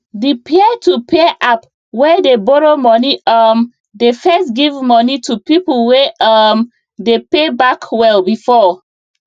the peertopeer app wey dey borrow money um dey first give money to people wey um dey pay back well before